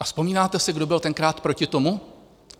A vzpomínáte si, kdo byl tenkrát proti tomu?